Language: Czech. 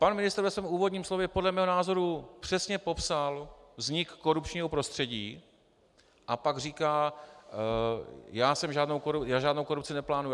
Pan ministr ve svém úvodním slově podle mého názoru přesně popsal vznik korupčního prostředí - a pak říká: já žádnou korupci neplánuji.